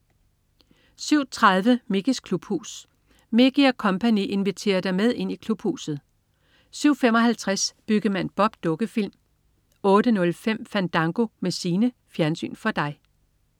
07.30 Mickeys klubhus. Mickey og co. inviterer dig med ind i Klubhuset! 07.55 Byggemand Bob. Dukkefilm 08.05 Fandango med Signe. Fjernsyn for dig